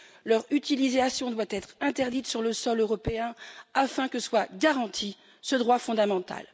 Leur utilisation doit être interdite sur le sol européen afin que soit garanti ce droit fondamental.